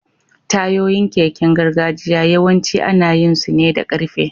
Tayoyin keken gargajiya yawanci ana yin su ne da ƙarfe.